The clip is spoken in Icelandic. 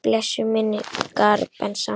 Blessuð sé minning Bensa.